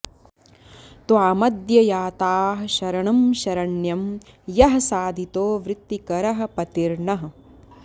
त्वामद्य याताः शरणं शरण्यं यः साधितो वृत्तिकरः पतिर्नः